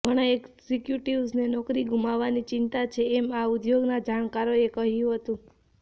ઘણા એક્ઝિક્યુટિવ્સને નોકરી ગુમાવવાની ચિંતા છે એમ આ ઉદ્યોગના જાણકારોએ કહ્યું હતું